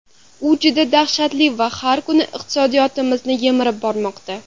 U juda dahshatli va har kuni iqtisodiyotimizni yemirib bormoqda.